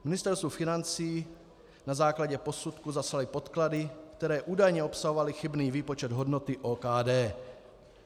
Ministerstvu financí na základě posudku zaslali podklady, které údajně obsahovaly chybný výpočet hodnoty OKD.